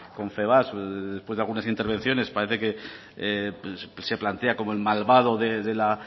confebask después de alguna intervenciones parece que se plantea como el malvado de la